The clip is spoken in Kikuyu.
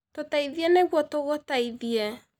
Tũteithie niguo tũgũteithie